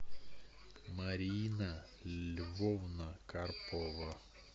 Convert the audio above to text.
марина львовна карпова